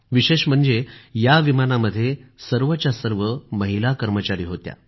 विशेष म्हणजे या विमानामध्ये सर्वच्या सर्व महिला कर्मचारी होत्या